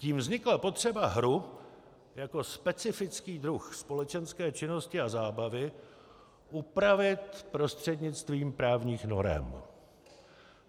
Tím vznikla potřeba hru jako specifický druh společenské činnosti a zábavy upravit prostřednictvím právních norem.